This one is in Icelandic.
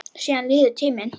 Síðan líður tíminn.